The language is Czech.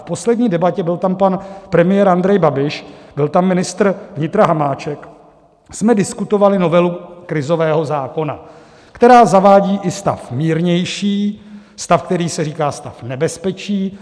V poslední debatě, byl tam pan premiér Andrej Babiš, byl tam ministr vnitra Hamáček, jsme diskutovali novelu krizového zákona, která zavádí i stav mírnější, stav, kterému se říká stav nebezpečí.